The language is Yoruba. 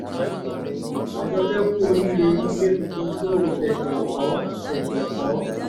àjọké ku oríire ilé tuntun tó o ṣẹ̀ṣẹ̀ kọ́ ṣẹ̀ṣẹ̀ kọ́